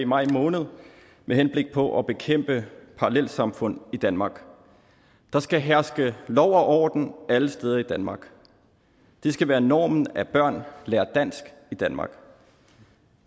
i maj måned med henblik på at bekæmpe parallelsamfund i danmark der skal herske lov og orden alle steder i danmark det skal være normen at børn lærer dansk i danmark